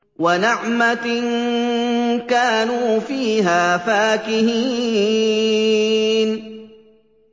وَنَعْمَةٍ كَانُوا فِيهَا فَاكِهِينَ